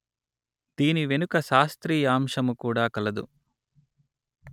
దీని వెనుక శాస్త్రీయాంశము కూడా కలదు